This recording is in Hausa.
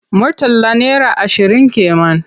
Murtala naira ashirin ke man.